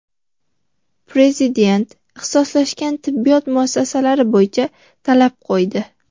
Prezident ixtisoslashgan tibbiyot muassasalari bo‘yicha talab qo‘ydi.